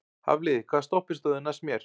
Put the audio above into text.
Hafliði, hvaða stoppistöð er næst mér?